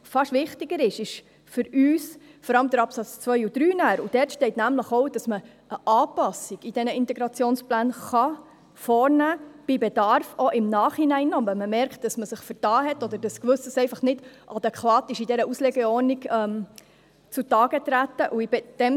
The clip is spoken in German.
Fast wichtiger sind für uns vor allem die Absätze 2 und 3. Dort steht nämlich auch, dass man eine Anpassung an den Integrationsplänen vornehmen , bei Bedarf auch im Nachhinein, wenn man bemerkt, dass man sich vertan hat oder dass Gewisses in der Auslegeordnung nicht adäquat zu Tage getreten ist.